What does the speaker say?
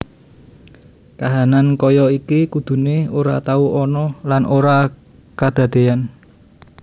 Kahanan kaya iki kudune ora tau ana lan ora kadadeyan